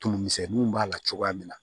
Tumumisɛnninw b'a la cogoya min na